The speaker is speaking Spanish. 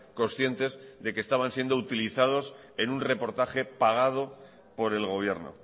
conscientes de que estaban siendo utilizados en un reportaje pagado por el gobierno